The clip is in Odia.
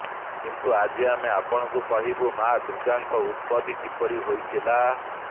କିନ୍ତୁ ଆଜି ଆମେ ଆପଣଙ୍କୁ କହିବୁ ମାଁ ଦୁର୍ଗାଙ୍କ ଉତ୍ପତି କିପରି ହୋଇଥିଲା